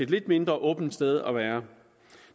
lidt mindre åbent sted at være